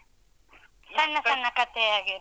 ಸಣ್ಣ ಸಣ್ಣ ಕಥೆಯ ಹಾಗೆ ಇರುತ್ತ